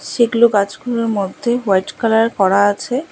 সেগুলো গাছগুলোর মধ্যে হোয়াইট কালার করা আছে।